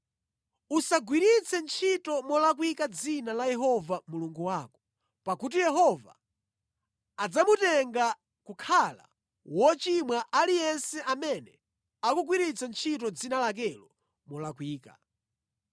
“Usagwiritse ntchito molakwika dzina la Yehova Mulungu wako, pakuti Yehova adzamutenga kukhala wochimwa aliyense amene akugwiritsa ntchito dzina lakelo molakwika.